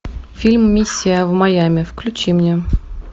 фильм миссия в майами включи мне